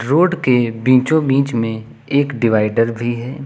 Road के बीचों बीच में एक डिवाइडर भी है।